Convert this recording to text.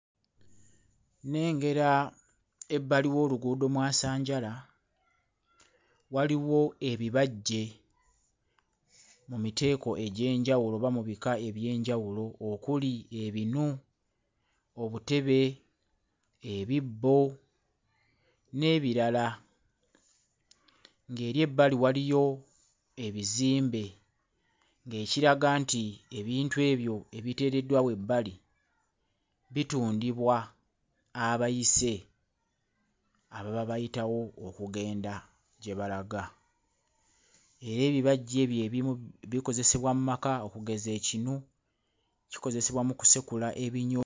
Nnengera ebbali w'oluguudo mwasanjala, waliwo ebbajje mu miteeko egy'enjawulo oba mu bika eby'enjawulo okuli ebinu, obutebe, ebibbo n'ebirala ng'eri ebbali waliyo ebizimbe ng'ekiraga nti ebintu ebyo ebiteereddwa awo ebbali bitundibwa abayise ababa bayitawo okugenda gye balaga, era ebibajje eby'ebimu bikozesebwa mmaka okugeza ekinu, kikozesebwa mu kusekula ebinyo